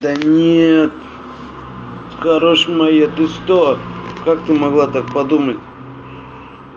да нет хорошая моя ты что как ты могла так подумать